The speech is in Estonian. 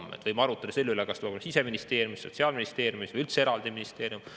Võime arutleda selle üle, kas see Siseministeeriumis, Sotsiaalministeeriumis või üldse eraldi ministeeriumis.